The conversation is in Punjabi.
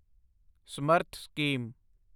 ਸਮਰਥ ਸਕੀਮ